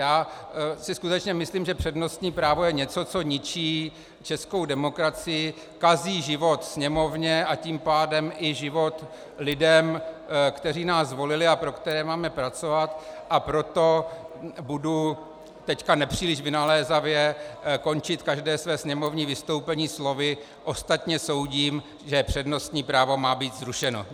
Já si skutečně myslím, že přednostní právo je něco, co ničí českou demokracii, kazí život Sněmovně, a tím pádem i život lidem, kteří nás zvolili a pro které máme pracovat, a proto budu teď nepříliš vynalézavě končit každé své sněmovní vystoupení slovy: ostatně soudím, že přednostní právo má být zrušeno.